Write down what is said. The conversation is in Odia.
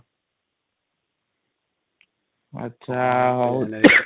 ଆଚ୍ଛା ହାଉ ଦେଖିବା |